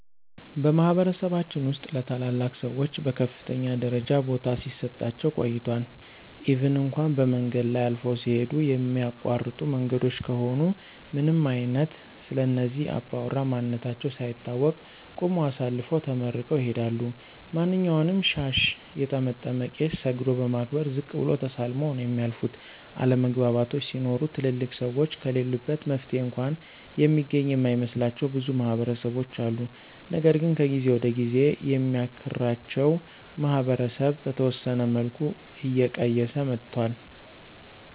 በማህበረሰባችን ውስጥ ለታላላቅ ሰዎች በከፍተኛ ደረጃ ቦታ ሲሰጣቸው ቆይቷል ኢቭን እንኳ በመንገድ ላይ አልፈው ሲሂዱ የሚያቋርጡ መንገዶች ከሆኑ ምንም አይነት ስለእነዚህ አባውራ ማንነታቸው ሳይታወቅ ቁመው አሳልፈው ተመርቀው ይሂዳሉ። ማንኛውንም ሻሽ የጠመጠመ ቄስ ሰግዶ በማክበር ዝቅ ብሎ ተሳልመው ነው የሚያልፉት፤ አለመግባባቶች ሲኖሩ ትልልቅ ሰዎች ከለሉበት መፍትሔ እንኳ የሚገኝ የማይመስላቸው ብዙ ማህበረሰቦች አሉ። ነገር ግን ከጊዜ ወደ ጊዜ የሚያክራቸው ማህበረሰብ በተወሰነ መልኩ እየቀየሰ መጥቷል።